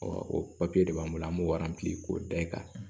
o papiye de b'an bolo an b'o k'o da i kan